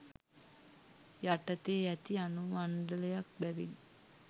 යටතේ ඇති අනුමණ්ඩලයක් බැවින්